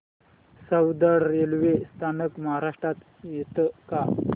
Soundad railway स्थानक महाराष्ट्रात येतं का